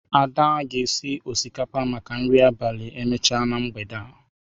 Ada ga-esi osikapa maka nri abalị emechaa na mgbede a.